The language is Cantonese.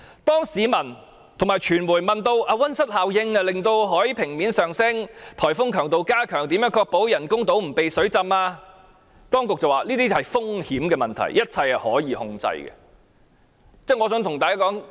當市民和傳媒問到，溫室效應令海平面上升及颱風強度加強，會如何確保人工島不被淹沒時，當局指這些風險問題均屬控制範圍之內。